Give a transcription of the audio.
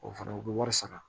O fana u bɛ wari sara